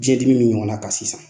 Biɲɛdimi min ɲɔgɔn na kan sisan.